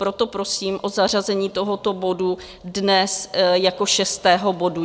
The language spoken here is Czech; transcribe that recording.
Proto prosím o zařazení tohoto bodu dnes jako šestého bodu.